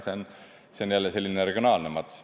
See on jälle selline regionaalne mats.